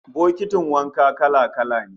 Bokitin wanka kala-kala ne